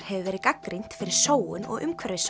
hefur verið gagnrýnt fyrir sóun og